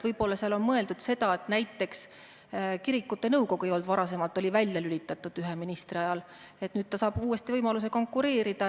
Võib-olla oli seal mõeldud seda, et näiteks kirikute nõukogu varasemalt ei olnud, ta oli ühe ministri ajal välja lülitatud, ja et nüüd saab ta uuesti võimaluse konkureerida.